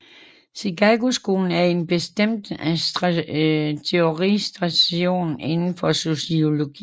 Chicagoskolen er en bestemt teoritradition inden for sociologien